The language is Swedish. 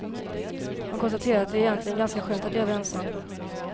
Man konstaterar att det egentligen är ganska skönt att leva ensam.